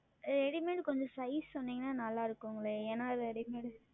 Readymade கொஞ்சம் Size சொன்னால் நன்றாக இருக்குமே ஏனால் Readymade